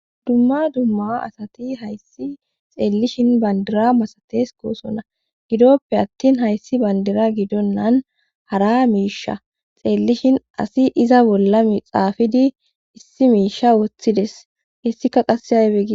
dumma dumma asati hayssi xeellishin bandira masates koosona gidoppe attin hayssi bandira gidonnan hara miisha xeellishin asi iza bolla mixaafidi issi miisha woththides hessika qasse aybe gi.